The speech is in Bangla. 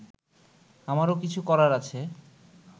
আমারও কিছু করার আছে